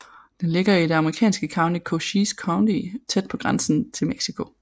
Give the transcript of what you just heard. Den ligger i det amerikanske county Cochise County tæt på grænsen til Mexico